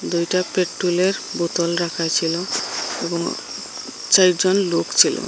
দুইটা পেট্টোলের বোতল রাখা ছিল এবং চারজন লোক ছিল।